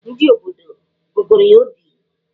Ndị obodo gụgụrụ ya obi.